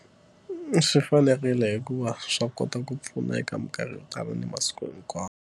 Swi fanerile hikuva swa kota ku pfuna eka mikarhi yo tala ni masiku hikwawo.